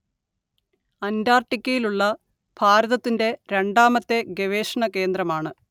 അന്റാർട്ടിക്കയിലുള്ള ഭാരതത്തിന്റെ രണ്ടാമത്തെ ഗവേഷണകേന്ദ്രമാണ്‌